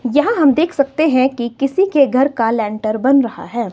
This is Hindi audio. यहां हम देख सकते हैं कि किसी के घर का लेंटर बन रहा है।